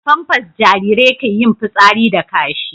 a pampas Jarirai ke yin fitsari da kashi